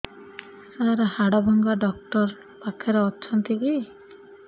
ସାର ହାଡଭଙ୍ଗା ଡକ୍ଟର ପାଖରେ ଅଛନ୍ତି କି